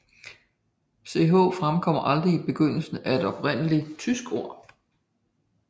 Ch fremkommer aldrig i begyndelsen af et oprindeligt tysk ord